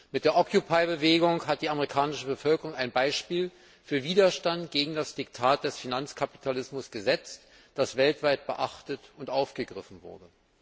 Mit der Bewegung hat die amerikanische Bevölkerung ein Beispiel für Widerstand gegen das Diktat des Finanzkapitalismus gesetzt, das weltweit beachtet und aufgegriffen wurde.